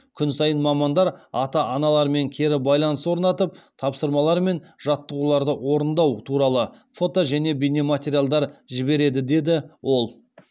күн сайын мамандар ата аналармен кері байланыс орнатып тапсырмалар мен жаттығуларды орындау туралы фото және бейнематериалдар жібереді деді ол